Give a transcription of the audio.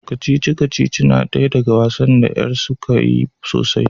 kacici-kacici na daya daga wasan da yar da suka yi sosai